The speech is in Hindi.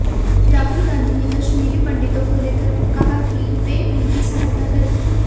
राहुल गांधी ने कश्मीरी पंडितों को लेकर कहा कि वे उनकी सहायता करेंगे